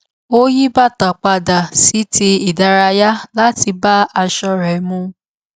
ó yí bàtà padà sí ti ìdárayá láti bá aṣọ rẹ mu